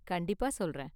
கண்டிப்பா சொல்றேன்!